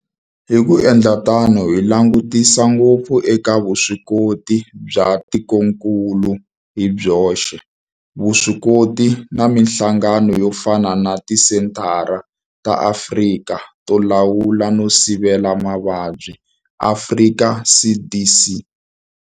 Hi ku endla tano hi langutisa ngopfu eka vuswikoti bya tikokulu hi byoxe, vuswikoti na mihlangano yo fana na Tisenthara ta Afrika to Lawula no Sivela Mavabyi, Afrika CDC.